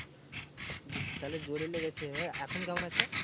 তাহলে জোরে লেগেছে, এখন কেমন আছে?